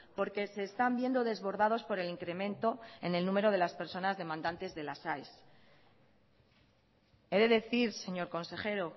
porque se están viendo desbordados por el incremento en el número de las personas demandantes de las aes he de decir señor consejero